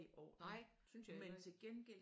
Nej det synes jeg heller ikke